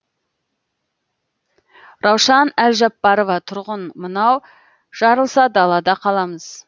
раушан әлжаппарова тұрғын мынау жарылса далада қаламыз